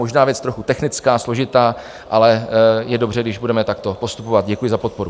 Možná věc trochu technická, složitá, ale je dobře, když budeme takto postupovat. Děkuji za podporu.